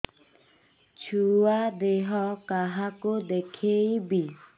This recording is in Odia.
ଛୁଆ ଦେହ କାହାକୁ ଦେଖେଇବି